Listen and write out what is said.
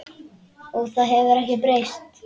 Og það hefur ekkert breyst.